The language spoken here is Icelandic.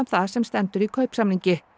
það sem stendur í kaupsamningi